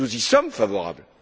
Nous y sommes favorables.